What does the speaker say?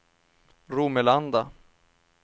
Romelanda